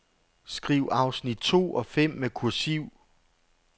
Skriv afsnit to og fem med kursiv.